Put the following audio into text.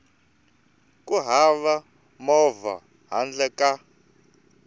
ku hava movha handle ka